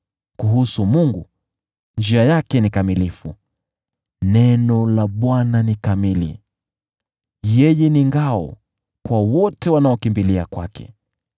Kuhusu Mungu, njia yake ni kamilifu, neno la Bwana halina dosari. Yeye ni ngao kwa wote wanaokimbilia kwake.